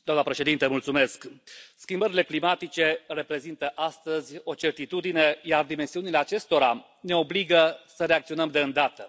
Doamnă președintă, schimbările climatice reprezintă astăzi o certitudine, iar dimensiunile acestora ne obligă să reacționăm de îndată.